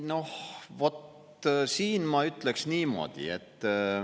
Ei noh, vot siin ma ütleksin niimoodi.